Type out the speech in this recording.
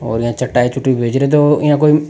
और यहाँ चटाई चुटाई भेज रहो इया कोई --